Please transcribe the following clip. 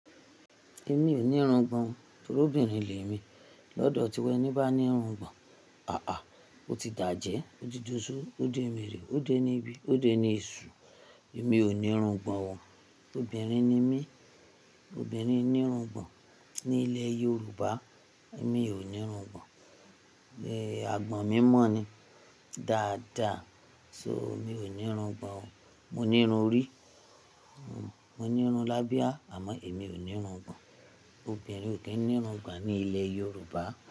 Èmi ò ní irungbọ̀n, torí obìnrin ni èmi. Lọ́dọ̀ tiwa ẹníbá ní irungbọ̀n, ó ti dàjẹ́, ó ti doṣó, ó démèrè, ó dé ní bi, ó dé ní èṣù. Èmi ò ní irungbọ̀n, obìnrin ni mí. Obìnrin ní irungbọ̀n ní ilẹ̀ Yorùbá, èmi ò ní irungbọ̀n, àgbọ̀n mi mọ́ ni, dáadáa. So, mi ò ní irungbọ̀n o. Mo ní irun orí, mo ní irun l'ábíà, àmọ́ èmi ò ní irungbọ̀n. Obìnrin ò kí ń ní irungbọ̀n ní ilẹ̀ Yorùbá.